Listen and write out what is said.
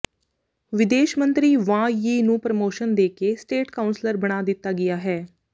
ਵਿਦੇਸ਼ ਮੰਤਰੀ Wang Yi ਨੂੰ ਪ੍ਰਮੋਸ਼ਨ ਦੇਕੇ ਸਟੇਟ ਕਾਉਂਸਲਰ ਬਣਾ ਦਿੱਤਾ ਗਿਆ ਹੈ